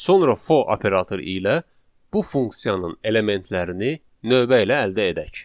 Sonra for operatoru ilə bu funksiyanın elementlərini növbə ilə əldə edək.